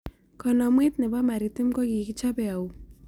Kanamwet ne bo maritim ko kikichobeei au